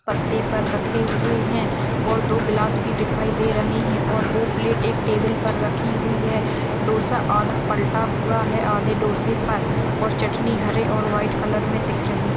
पत्ते पर रखे हुए है और दो गिलास भी दिखाई दे रहे है और वो प्लेट एक टेबल पे रखी हुई है डोसा आधा पलटा हुआ है आधे डोसे पर और चटनी हरे और व्हाइट कलर मे दिख रही है।--